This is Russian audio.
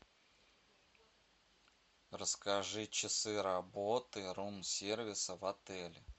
расскажи часы работы рум сервиса в отеле